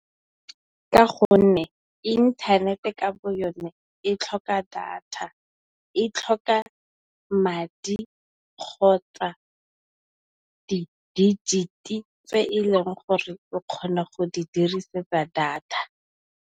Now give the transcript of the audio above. Ka gonne inthanete ka bo yone e tlhoka data, e tlhoka madi, kgotsa di dijiti tse e leng gore o kgona go di dirisetsa data.